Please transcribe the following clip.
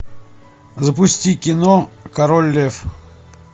запусти кино король лев